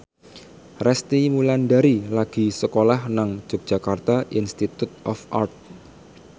Resty Wulandari lagi sekolah nang Yogyakarta Institute of Art